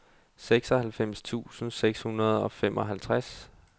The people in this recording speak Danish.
seksoghalvfems tusind seks hundrede og femoghalvtreds